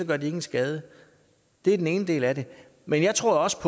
gør de ingen skade det er den ene del af det men jeg tror også